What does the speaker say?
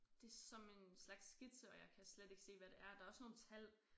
Det som en slags skitse og jeg kan slet ikke se hvad det er der er også nogle tal